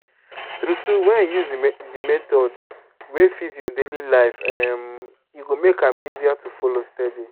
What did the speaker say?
true true when you use the method wey fit your daily life um e go make am easier to follow steady.